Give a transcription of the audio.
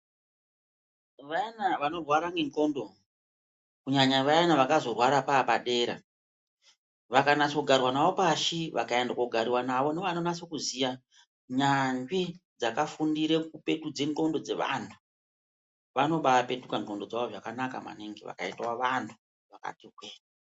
Vana vanorwara nge ngxondo kunyanya vaya vakazorwarwa vapadera, vakanatso garwa nawo pashi vakaenda kogariwa navo ndovanonatso kuziya nyanzvi dzakafundire kupetudze ngxondo dzevantu. Vanovapetuka ngxondo dzavo zvakanaka maningi , vakaitwe vantu vakati twi.